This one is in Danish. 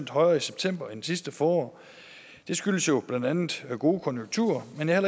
højere i september end sidste forår det skyldes jo blandt andet gode konjunkturer men jeg